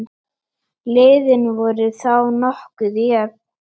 Liðin voru þá nokkuð jöfn.